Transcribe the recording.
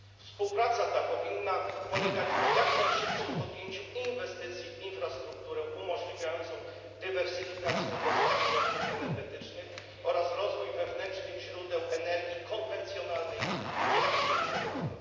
Współpraca ta powinna polegać na jak najszybszych inwestycjach w infrastrukturę umożliwiającą dywersyfikację dostaw surowców energetycznych oraz rozwój wewnętrznych źródeł energii konwencjonalnej i niekonwencjonalnej.